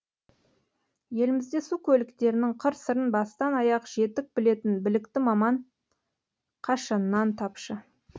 елімізде су көліктерінің қыр сырын бастан аяқ жетік білетін білікті маман қашаннан тапшы